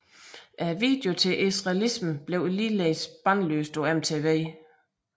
Videoen til Israelism blev ligeledes bandlyst på MTV